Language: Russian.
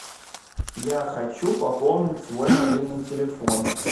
я хочу пополнить свой мобильный телефон